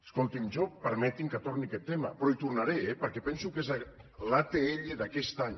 escoltin jo permetin me que torni a aquest tema però hi tornaré eh perquè penso que és l’atll d’aquest any